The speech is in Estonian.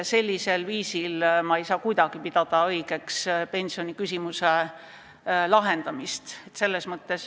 Sellisel viisil pensioniküsimuse lahendamist ei saa kuidagi õigeks pidada.